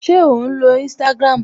Ṣé ò ń lo Instagram?